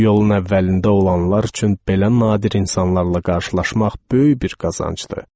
Yolun əvvəlində olanlar üçün belə nadir insanlarla qarşılaşmaq böyük bir qazancdır.